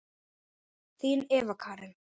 Þín Eva Karen.